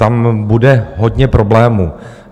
Tam bude hodně problémů.